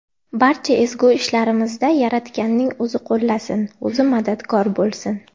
Barcha ezgu ishlarimizda Yaratganning o‘zi qo‘llasin, o‘zi madadkor bo‘lsin!